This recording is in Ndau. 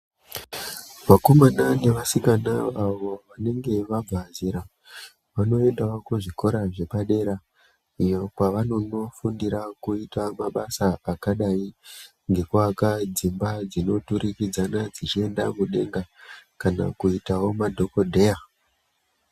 Vakomana nevasikana avo vanenge vabva zera vanoendawo kuzvikora zvepadera iyo kwavanonofundira mabasa akadzi ngekukasira dzimba dzinoturikidzana dzichienda mudenga kana kuitawo madhokodheya.